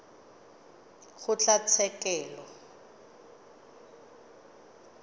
kgotlatshekelo